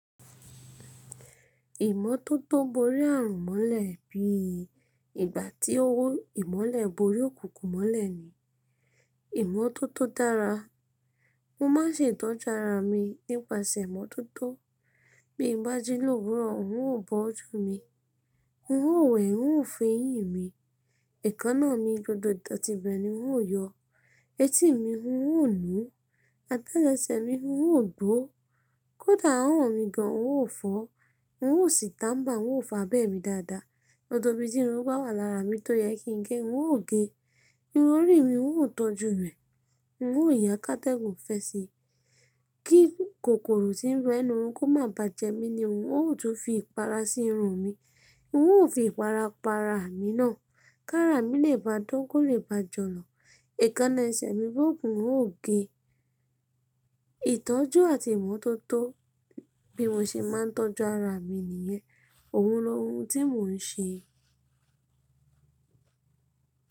Ìmọ́tótó borí ààrùn mọ́lẹ̀ bí i ìgbà tí owó ìmọ́lẹ̀ borí òkùnkùn mọ́lẹ̀ ni ìmọ́tótó dára. Mo má ń se ìtọ́jú ara mi nípasẹ̀ ìmọ́tótó. Bí n bá jí lòwúrọ̀, n ó bọ́ ojú mi, n ó wẹ̀, n ó fẹ́yín mi, èékánná mi gbogbo dòtí ibẹ̀ ni n ó yọ, etí mi n ó nùú, àtelese mi n ó gbó, kódà àwon mi gan n ó fọ́, n ó sì tàmbà, n ó fàbẹ́ mi dáadáa. Gbogbo ibi tí irun bá wà lára mi tó yẹ kí n gé, n ó gé e. Irun orí mi n ó tọ́jú rẹ̀, n ó yan ká tẹ̀gúnfẹ̀sì. Kí kòkòrò tí ń rọ inú run kó má bà jẹ mí ni n ó, ó tún ń fi ìpara sí irun mi, n ó fi ìpara pa ara mi ná. Kára mi lè bá dán, kó lè bá jọlọ̀. Ẹ̀kan na ẹsẹ̀ mi bóòbù n ó gé e. Ìtọ́jú àti ìmọ́tótó bí mo ṣe má ń tọ́jú ara mi nìyẹn. Òhun lọ́ hun tí mò ń ṣe.